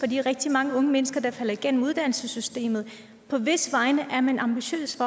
de rigtig mange unge mennesker der falder igennem uddannelsessystemet på hvis vegne er man ambitiøs